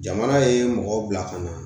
Jamana ye mɔgɔw bila ka na